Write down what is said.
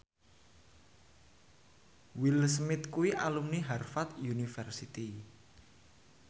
Will Smith kuwi alumni Harvard university